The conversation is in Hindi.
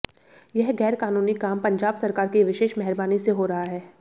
यह गैर कानूनी काम पंजाब सरकार की विशेष मेहरबानी से हो रहा है